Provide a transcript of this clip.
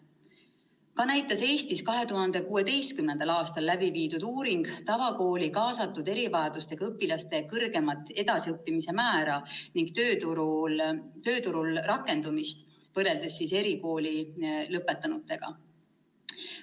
Samuti näitas Eestis 2016. aastal tehtud uuring tavakooli kaasatud erivajadustega õpilaste kõrgemat edasiõppimise määra ja tööturul suuremat rakendumist võrreldes erikooli lõpetanutega.